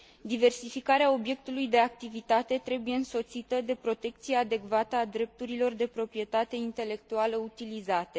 Diversificarea obiectului de activitate trebuie însoțită de protecția adecvată a drepturilor de proprietate intelectuală utilizate.